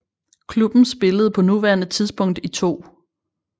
Klubben spiller på nuværende tidspunkt i 2